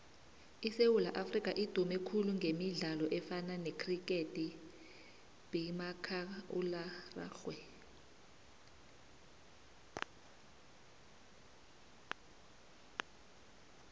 isewula afrika idume khulu gemidlalo efana necriketrugbymakhakulararhwe